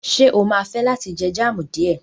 Ṣé o máa fẹ́ láti jẹ jam díẹ̀?